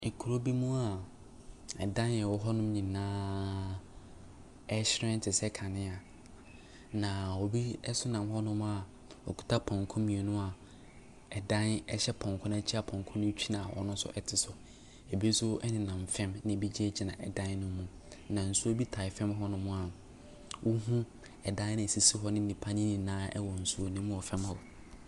Kurow bi mu a ɛdan a ɛwɔ hɔ nyinaa ɛhyerɛn te sɛ kanea. Na obi nso nam hɔnom a okuta pɔnkɔ mmienu a ɛdan si pɔnkɔ no akyi a pɔnkɔ no retwi na ɔno nso te so. Ebi nso nenam fam na ebi nso gyinagyina dan no mu. Na nsuo bi tae fam hɔnom a wohu dan a esisi hɔ no ne nnipa no nyinaa wɔ nsuo no mu wɔ fam hɔ.